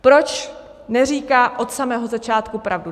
Proč neříká od samého začátku pravdu?